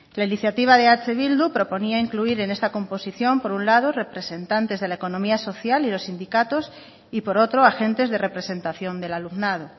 la iniciativa de eh bildu proponía incluir en esta composición por un lado representantes de la economía social y los sindicatos y por otro agentes de representación del alumnado